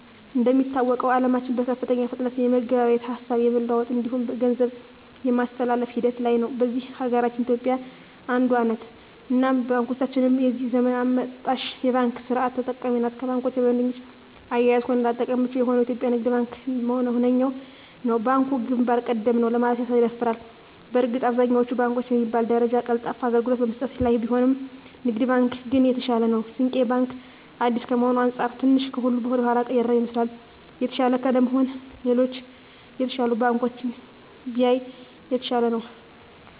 እንደሚታወቀዉ አለማችን በከፍተኛ ፍጥነት የመገበያየት፣ ሀሳብ የመለዋወጥ እንዲሁም ገንዘብ የማስተላፍ ሂደት ላይ ነዉ። በዚህ ሀገራችን ኢትዮጵያ አንዷ ነት እናም ባንኮቻችንም የዚህ ዘመን አመጣሽ የባንክ ስርት ተጠቃሚ ናት ከባንኮች በደንበኛ አያያዝም ሆነ ለአጠቃቀም ምቹ የሆነዉ የኢትዮጵያ ንግድ ባንክ ዋነኛዉ ነዉ። ባንኩ ግንባር ቀደም ነዉ ለማለትም ያስደፍራል በእርግጥ አብዛኛወቹ ባንኮች በሚባል ደረጃ ቀልጣፋ አገልግሎት በመስጠት ላይ ቢሆኑም ንግድ ባንክ ግን የተሻለ ነዉ። ስንቄ ባንክ አዲስ ከመሆኑ አንፃር ትንሽ ከሁሉ ወደኋላ የቀረ ይመስላል። የተሻለ ለመሆን ሌሎች የተሻሉ ባንኮችን ቢያይ የተሻለ ነዉ።